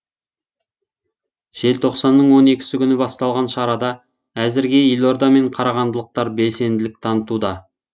желтоқсанның он екісі күні басталған шарада әзірге елорда мен қарағандылықтар белсенділік танытуда